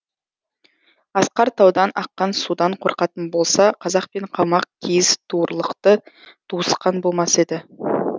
асқар таудан аққан судан қорқатын болса қазақ пен қалмақ киіз туырлықты туысқан болмас еді